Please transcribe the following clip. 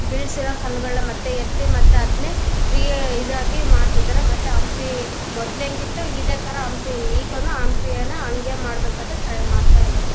ಬೀಳಿಸಿರೋ ಕಲ್ಲುಗಳನ್ನ ಮತ್ತೆ ಎತ್ತಿ ಮತ್ತೆ ಅದನ್ನೇ ರೀ ಇದಾಗಿ ಮಾಡ್ತಿದಾರೆ ಮತ್ತೆ ಹಂಪಿ ಮೊದಲು ಹೆಂಗಿತ್ತೋ ಇದೆ ತರ ಹಂಪಿ ಈಗನು ಹಂಪಿನ ಅದೇ ತರ ಮಾಡಬೇಕು ಅಂತ ಟ್ರೈ ಮಾಡ್ತಿದ್ದಾರೆ.